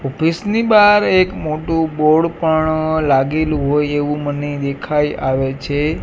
Office ની બાર એક મોટુ બોર્ડ પણ લાગેલુ હોઇ એવુ મને દેખાય આવે છે.